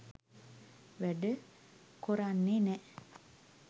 වැඩ කොරන්නෙ නෑ